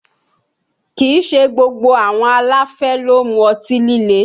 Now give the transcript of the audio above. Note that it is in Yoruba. Kìí ṣe gbogbo àwọn aláfẹ́ ló ń mu ọtí líle